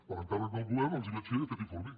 per encàrrec del govern els vaig fer aquest informe